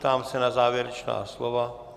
Ptám se na závěrečná slova?